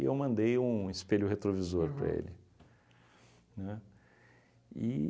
eu mandei um espelho retrovisor para ele, né? E